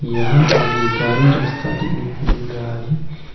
यहां आगे गाड़ी रास्ता देने को मिल रहा है।